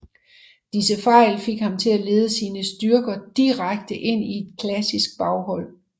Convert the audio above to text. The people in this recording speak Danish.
Disse fejl fik ham til at lede sin styrker direkte ind i et klassisk baghold